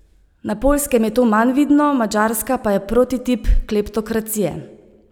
Na Poljskem je to manj vidno, Madžarska pa je prototip kleptokracije.